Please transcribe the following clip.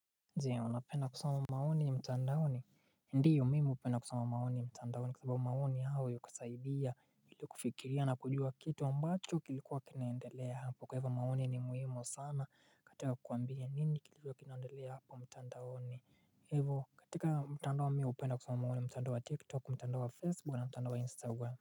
Je, unapenda kusoma maoni mtandaoni? Ndio mimi upenda kusoma maoni mtandaoni kwa sababu maoni hao yukusaidia ili kufikiria na kujua kitu ambacho kilikuwa kinaendelea hapo kwa ivo maoni ni muhimu sana katika kuambia nini kilikuwa kinaendelea hapo mtandaoni hivo katika mtandao mi upenda kusoma maoni mtandao wa tiktok mtandao wa facebook na mtandao wa instagram.